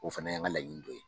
O fana ye n ka laɲini dɔ ye.